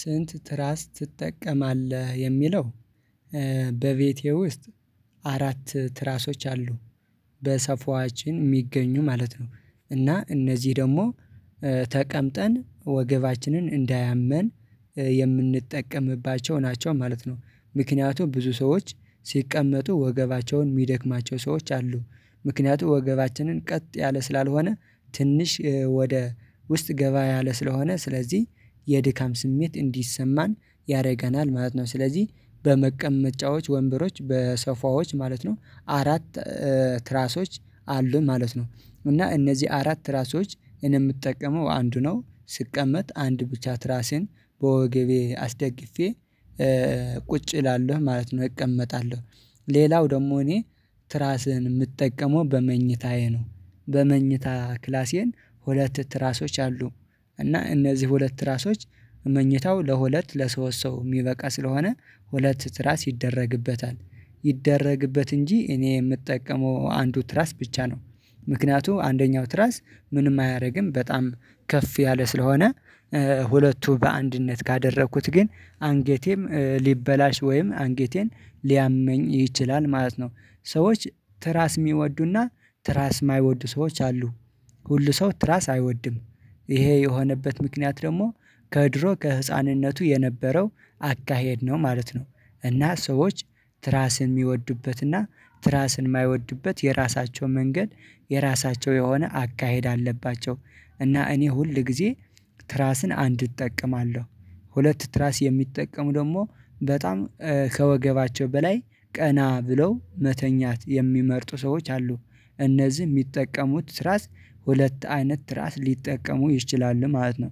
"ስንት ትራስ ትጠቀማለህ?" የሚለው፤ በቤቴ ውስጥ አራት ትራሶች አሉ። በሰፏችን የሚገኙ ማለት ነው፤ እና እነዚህ ደግሞ ተቀምጠን ወገባችንን እንዳያመን የምንጠቀምባቸው ናቸው ማለት ነው። ምክንያቱም ብዙ ሰዎች ሲቀመጡ ወገባቸውን የሚደክማቸው ሰዎች አሉ። ምክንያቱም ወገባችንን ቀጥ ያለ ስላልሆነ ትንሽ ወደ ውስጥ ገባ ያለ ስለሆነ ስለዚህ የድካም ስሜት እንዲሰማን ያደርገናል ማለት ነው፤ ስለዚህ በመቀመጫዎች ወንበሮች በሶፋዎች ማለት ነው አራት ትራሶች አሉን ማለት ነው። እና እነዚህ አራት ትራሶች እኔ የምጠቀመው አንዱ ነው። ስቀመጥ አንድ ብቻ ትራሴን በወገቤ አስደግፌ ቁጭ እላለሁ ማለት ነው፤ እቀመጣለሁ። ሌላው ደግሞ እኔ ትራስህን የምትጠቀመው በመኝታዬ ነው። በመኝታ ክላሴን ሁለት ትራሶች አሉ። እና እነዚህ ሁለት ትራሶች መኝታው ለሁለት ለሶስት ሰው የሚበቃ ስለሆነ ሁለት ትራስ ይደረግበታል፤ ይደረግበት እንጂ እኔ የምጠቀመው አንዱ ትራስ ብቻ ነው። ምክንያቱም አንደኛው ትራስ ምንም አያደርግም፤ በጣም ከፍ ያለ ስለሆነ ሁለቱ በአንድነት ካደረኩት ግን አንጌቴም ሊበላሽ ወይም አንጌቴን ሊያመኝ ይችላል ማለት ነው። ሰዎች ትራስ የሚወዱና ትራስ የማይወዱ ሰዎች አሉ። ሁሉ ሰው ትራስ አይወድም። ይሄ የሆነበት ምክንያት ደግሞ ከድሮ ከህፃንነቱ የነበረው አካሄድ ነው ማለት ነው፤ እና ሰዎች ትራስን የሚወዱበትና ትራስን የማይወድበት የራሳቸው መንገድ የራሳቸው የሆነ አካሄድ አለባቸው፤ እና እኔ ሁል ጊዜ ትራስን አንድ እጠቀማለሁ። ሁለት ትራስ የሚጠቀሙ ደግሞ በጣም ከወገባቸው በላይ ቀና ብለው መተኛት የሚመርጡ ሰዎች አሉ። እነዚህ የሚጠቀሙት ትራስ ሁለት አይነት ትራስ ሊጠቀሙ ይችላሉ ማለት ነው።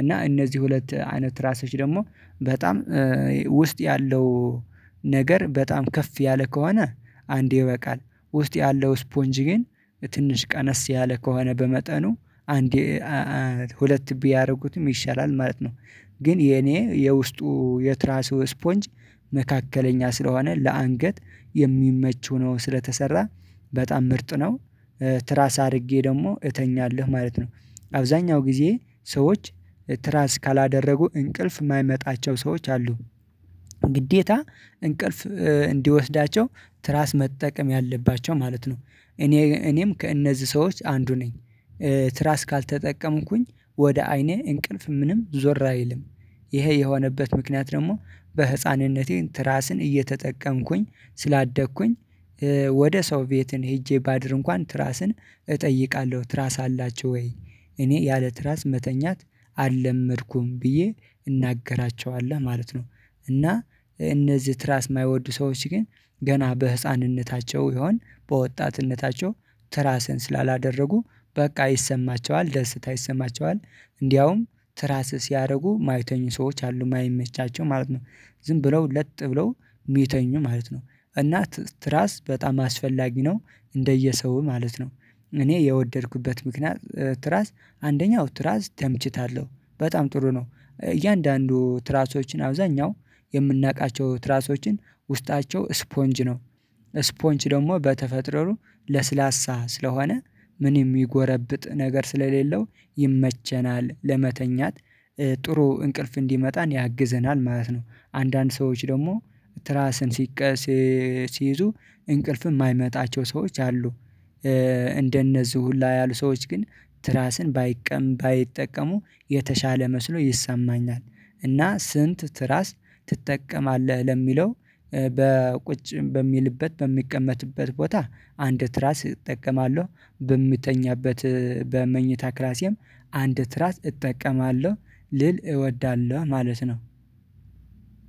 እና እነዚህ ሁለት አይነት ትራሶች ደግሞ በጣም ውስጥ ያለው ነገር በጣም ከፍ ያለ ከሆነ አንድ ይበቃል። ውስጥ ያለው ስፖንጅ ግን ትንሽ ቀነስ ያለ ከሆነ በመጠኑ አንዴ ሁለት ቢያደርጉትም ይሻላል ማለት ነው። ግን የኔ የውስጡ የትራሱ ስፖንጅ መካከለኛ ስለሆነ ለአንገት የሚመች ሆኖ ስለተሰራ በጣም ምርጥ ነው። ትራስ አድርጌ ደግሞ እተኛለሁ ማለት ነው። አብዛኛው ጊዜ ሰዎች ትራስ ካላደረጉ እንቅልፍ የማይመጣቸው ሰዎች አሉ። ግዴታ እንቅልፍ እንዲወስዳቸው ትራስ መጠቀም ያለባቸው ማለት ነው። እኔ እኔም ከእነዚህ ሰዎች አንዱ ነኝ። ትራስ ካልተጠቀምኩኝ ወደ አይኔ እንቅልፍ ምንም ዞር አይልም። ይሄ የሆነበት ምክንያት ደግሞ በህፃንነቴ ትራስን እየተጠቀምኩኝ ስላደግኩኝ ወደ ሰው ቤትን ሄጄ ባድር እንኳን ትራስን እጠይቃለሁ "ትራስ አላችሁ ወይ? እኔ ያለ ትራስ መተኛት አልለመድኩም" ብዬ እናገራቸዋለሁ ማለት ነው። እና እነዚህ ትራስ የማይወዱ ሰዎች ግን ገና በህፃንነታቸው ይሆን በወጣትነታቸው ትራስን ስላላደረጉ በቃ ይሰማቸዋል ደስታ ይሰማቸዋል እንዲያውም ትራስ ሲያደርጉ የማይተኙ ሰዎች አሉ የማይመቻቸው ማለት ነው። ዝም ብለው ለጥ ብለው የሚተኙ ማለት ነው፤ እና ትራስ በጣም አስፈላጊ ነው እንደየሰው ማለት ነው። እኔ የወደድኩበት ምክንያት ትራስ አንደኛው ትራስ ተምችታለሁ በጣም ጥሩ ነው። እያንዳንዱ ትራሶችን አብዛኛው የምናውቃቸው ትራሶችን ውስጣቸው ስፖንጅ ነው። ስፖንጅ ደግሞ በተፈጥሮሩ ለስላሳ ስለሆነ ምንም የሚጎረብጥ ነገር ስለሌለው ይመቸናል ለመተኛት ጥሩ እንቅልፍ እንዲመጣን ያግዘናል ማለት ነው። አንዳንድ ሰዎች ደግሞ ትራስን ሲቀ ሲ ሲይዙ እንቅልፍ የማይመጣቸው ሰዎች አሉ። እንደነዚህ ሁላ ያሉ ሰዎች ግን ትራስን ባይቀ ባይጠቀሙ የተሻለ መስሎ ይሰማኛል፤ እና "ስንት ትራስ ትጠቀማለህ?" ለሚለው፤ በቁጭ በሚልበት በሚቀመጥበት ቦታ አንድ ትራስ እጠቀማለሁ። በምተኛበት በመኝታ ክላሲየም አንድ ትራስ እጠቀማለሁ ልል እወዳለሁ ማለት ነው።